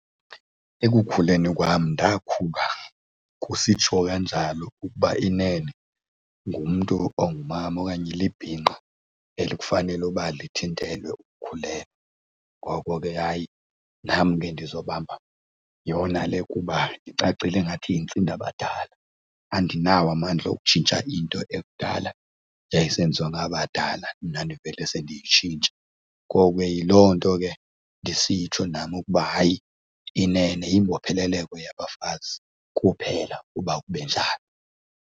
Ekukhuleni kwam ndakhula kusitshiwo kanjalo ukuba inene ngumntu ongumama okanye libhinqa elikufanele uba lithintelwe ukukhulelwa. Ngoko ke hayi nam ke ndizobamba yona le kuba icacile ingathi yintsindabadala, andinawo amandla okutshintsha into ekudala yayisenziwa ngabantu abadala mna ndivele sendiyitshintsha. Ngoko ke yiloo nto ke ndisitsho nam ukuba hayi inene, yimbopheleleko yabafazi kuphela uba kube njalo.